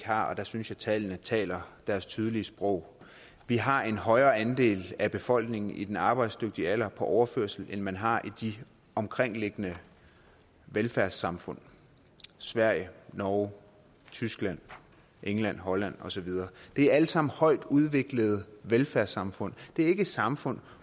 har og der synes jeg tallene taler deres tydelige sprog vi har en højere andel af befolkningen i den arbejdsdygtige alder på overførsel end man har i de omkringliggende velfærdssamfund sverige norge tyskland england holland og så videre de er alle sammen højt udviklede velfærdssamfund det er ikke samfund